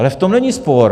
Ale v tom není spor.